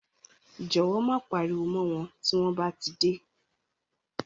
Jọ̀wọ́ má pariwo mọ́ wọn tí wọ́n bá dé.